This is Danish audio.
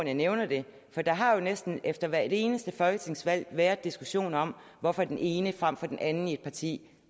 jeg nævner det for der har jo næsten efter hvert eneste folketingsvalg været diskussioner om hvorfor den ene frem for den anden i et parti